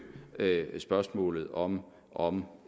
spørgsmålet om om